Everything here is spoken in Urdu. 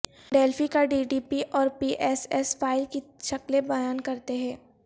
ڈیلفی کا ڈی ڈی پی اور پی ایس ایس فائل کی شکلیں بیان کرتے ہیں